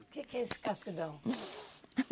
O que que é escassidão?